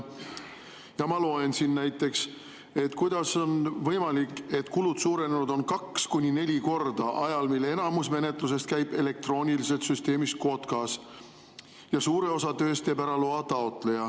Näiteks, kuidas on võimalik, et kulud on suurenenud kaks kuni neli korda ajal, mil enamik menetlusest käib elektrooniliselt süsteemis KOTKAS ja suure osa tööst teeb ära loa taotleja?